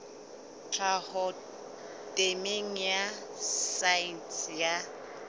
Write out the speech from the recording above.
tlhaho temeng ya saense ya